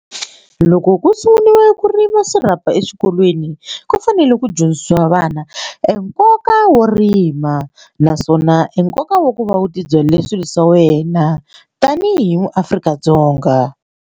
Ku loko ku sunguriwa ku rima swirhapa eswikolweni ku fanele ku dyondzisiwa vana e nkoka wo rima naswona enkoka wa ku va u tibyele swilo swa wena tanihi maAfrika-Dzonga.